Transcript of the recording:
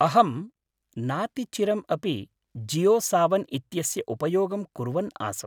अहं नातिचिरम् अपि जियोसावन् इत्यस्य उपयोगं कुर्वन् आसम्।